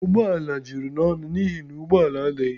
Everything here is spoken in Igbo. Ụgbọ ala juru n'ọnụ n'ihi na ụgbọ ala adịghị